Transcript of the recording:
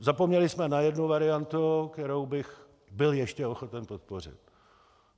Zapomněli jsme na jednu variantu, kterou bych byl ještě ochoten podpořit.